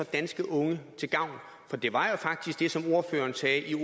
danske unge til gavn for det var faktisk det som ordføreren sagde i